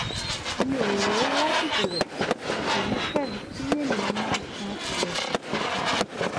mo ò rò láti bẹ̀rẹ̀ òní pẹ̀lú kí ènìyàn máa kan ilẹ̀kùn kíkankíkan